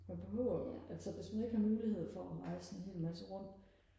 man behøver jo altså hvis man ikke har mulighed for og rejse en hel masse rundt